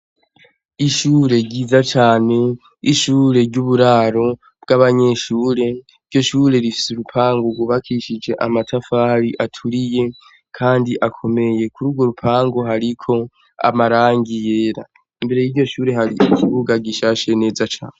Ishure ryiza cane ishure ry' uburaro bw' abanyeshure iryo shure rifise urupangu gwubakishije amatafari aturiye kandi akomeye kuri ugwo rupangu hariko amarangi yera imbere y' iryo shure hari ikibuga gishashe neza cane.